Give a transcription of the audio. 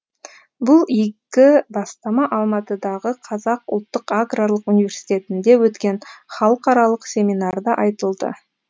бұл игі бастама алматыдағы қазақ ұлттық аграрлық университетінде өткен халықаралық семинарда айтылды